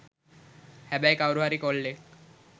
හැබැයි කවුරු හරි කොල්ලෙක්